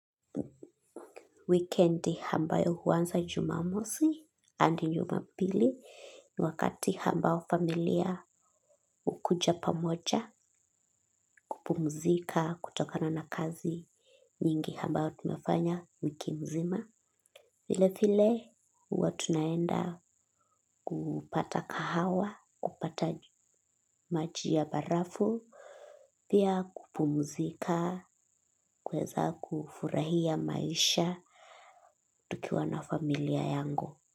Weekend hambayo huwansa jumamosi and jumapili ni wakati hambao familia ukuja pamocha kupumzika kutokana na kazi nyingi hambao tumefanya wiki mzima. File file huwa tunaenda kupata kahawa kupata maji ya barafu pia kupumzika kuweza kufurahia maisha tukiwa na familia yangu.